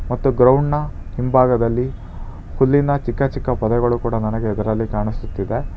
ಮತ್ತು ಗ್ರೌಂಡ್ನ ಹಿಂಭಾಗದಲ್ಲಿ ಹುಲ್ಲಿನ ಚಿಕ್ಕ ಚಿಕ್ಕ ಪೊದೆಗಳು ಕೂಡ ನನಗೆ ಅದರಲ್ಲಿ ಕಾಣಿಸುತ್ತಿದೆ.